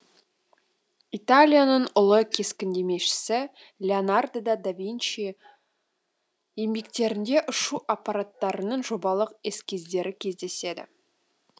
италияның ұлы кескіндемешісі леонардо да винчи еңбектерінде ұшу аппараттарының жобалық эскиздері кездеседі